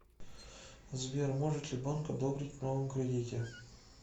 сбер может ли банк одобрить в новом кредите